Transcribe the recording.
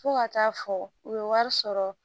Fo ka taa fɔ u ye wari sɔrɔ